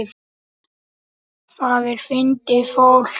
Það er fyndið fólk.